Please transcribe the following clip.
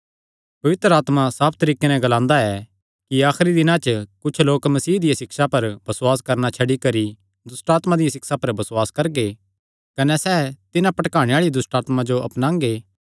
पवित्र आत्मा साफ तरीके नैं ग्लांदा ऐ कि आखरी दिनां च कुच्छ लोक मसीह दिया सिक्षा पर बसुआस करणा छड्डी करी दुष्टआत्मां दियां सिक्षां पर बसुआस करगे कने सैह़ तिन्हां भटकाणे आल़ी दुष्टआत्मां जो अपनांगे